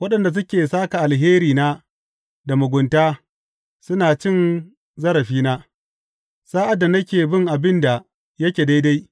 Waɗanda suke sāka alherina da mugunta, suna cin zarafina sa’ad da nake bin abin da yake daidai.